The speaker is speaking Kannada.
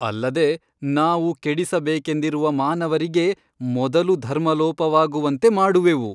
ಅಲ್ಲದೆ ನಾವು ಕೆಡಿಸಬೇಕೆಂದಿರುವ ಮಾನವರಿಗೆ ಮೊದಲು ಧರ್ಮಲೋಪವಾಗುವಂತೆ ಮಾಡುವೆವು.